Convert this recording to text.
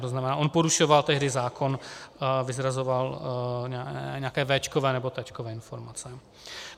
To znamená, on porušoval tehdy zákon, vyzrazoval nějaké véčkové nebo téčkové informace.